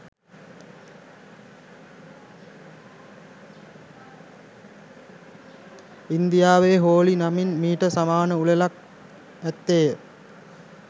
ඉන්දියාවේ හෝලි නමින් මීට සමාන උළෙලක් ඇත්තේය